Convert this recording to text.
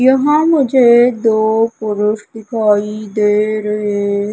यहां मुझे दो पुरुष दिखाई दे रहे--